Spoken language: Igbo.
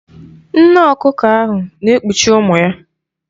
Nne ọkụkọ ahụ na-ekpuchi ụmụ ya.